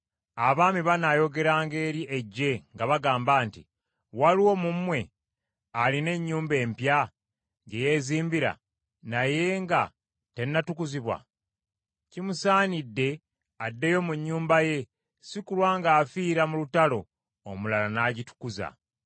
Abaami banaayogeranga eri eggye nga bagamba nti, “Waliwo mu mmwe alina ennyumba empya gye yeezimbira naye nga tennatukuzibwa? Kimusanidde addeyo mu nnyumba ye, si kulwa ng’afiira mu lutalo, omulala n’agitukuza.